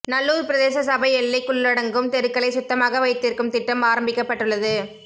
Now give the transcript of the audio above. நல்லூர் பிரதேச சபை எல்லைக்குள்ளடங்கும் தெருக்களைச் சுத்தமாக வைத்திருக்கும் திட்டம் ஆரம்பிக்கப்பட்டுள்ளது